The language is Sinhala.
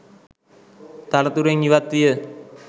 තනතුරෙන් ඉවත් විය.